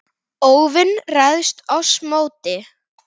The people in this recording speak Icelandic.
óvin ræðst oss móti.